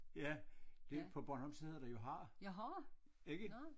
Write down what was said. Ja det på bornholmsk der hedder det jo har ikke